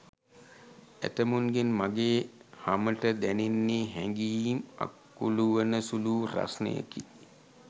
ඇතැමුන්ගෙන් මගේ හමට දැනෙන්නේ හැගීම් අකුළුවන සුළු වූ රස්නයකි.